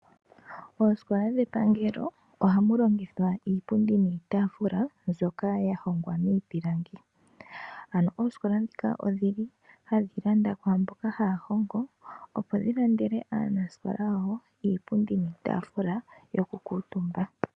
Oosikola dhepangelo ohamu longithwa iipundi niitaafula mbyoka ya hongwa miipilangi. Ano oosikola ndhika odhi li hadhi landa kwaa mboka haya hongo, opo dhi landele aanasikola yawo iipundi niitaafula yokukuutumba.